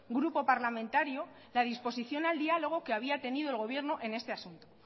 grupo parlamentario la disposición al diálogo que había tenido el gobierno en este asunto